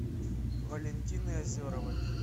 валентины озеровой